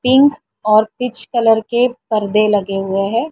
Pink और peach colour के पर्दे लगे हुए हैं।